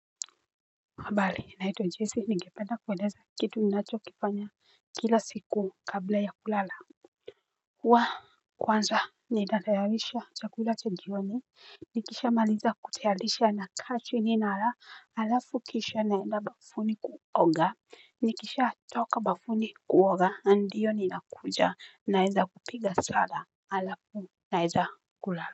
Habari naitwa Jesse ningependa kueleza kitu ninacho kifanya kila siku kabla ya kulala. Waa kwanza ni natayalisha chakula cha jioni nikisha maliza kutayalisha na kaa chini nala halafu kisha naenda bafuni kuoga nikisha toka bafuni kuoga ndio ni nakuja naenda kupiga sala alafu naeza kulala.